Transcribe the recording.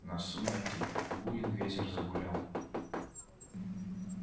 на сумерки буен ветер загулял